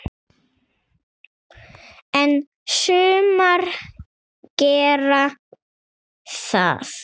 En sumar gera það.